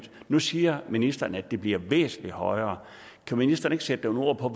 nu siger ministeren at det bliver væsentlig højere kan ministeren ikke sætte nogle ord på